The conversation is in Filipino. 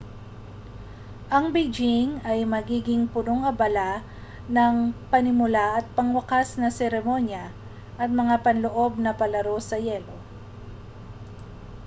ang beijing ang magiging punong-abala ng panimula at pangwakas na mga seremonya at mga panloob na palaro sa yelo